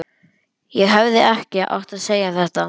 Ég hefði ekki átt að segja þetta.